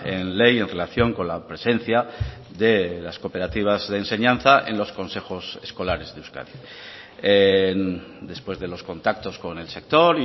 en ley en relación con la presencia de las cooperativas de enseñanza en los consejos escolares de euskadi después de los contactos con el sector